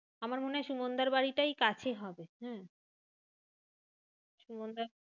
আমার মনে হয় সুমানদার বাড়িটাই কাছে হবে। হম সুমানদার